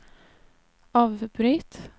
avbryt